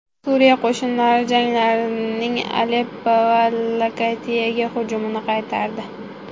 Suriya qo‘shinlari jangarilarning Aleppo va Latakiyaga hujumini qaytardi.